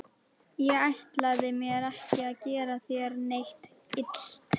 Ég ætlaði mér ekki að gera þér neitt illt.